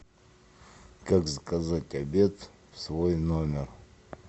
как заказать обед в свой номер